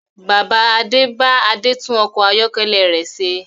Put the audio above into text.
Bàbá Adé bá Adé tún ọkọ̀ ayọ́kẹ́lẹ̀ rẹ ṣe